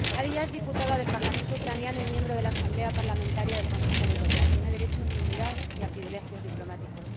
Nadiya es diputada del Parlamento ucraniano y miembro de la Asamblea Parlamentaria del Consejo de Europa tiene derecho a la inmunidad y a privilegios diplomáticos.